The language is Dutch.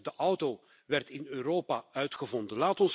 De auto werd in Europa uitgevonden!